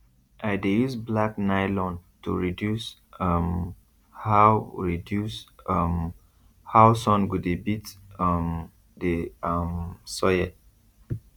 i dey use black nylon to reduce um how reduce um how sun go dey beat um the um soil